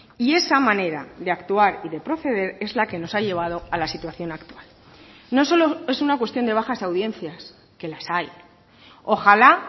y esa manera de actuar y de proceder es la que nos ha llevado a la situación actual no solo es una cuestión de bajas audiencias que las hay ojalá